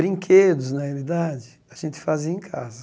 Brinquedos, na realidade, a gente fazia em casa.